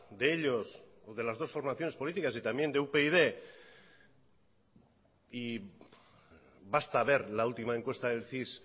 de ellos o de las dos formaciones políticas y también de upyd y basta ver la última encuesta del cis